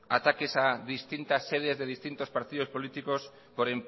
ataques a distintas sedes de distintos partidos políticos por